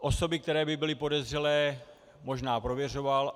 Osoby, které by byly podezřelé, možná prověřoval.